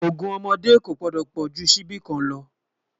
ògún ọmọdé kò gbòdó pojú síbí kàn ló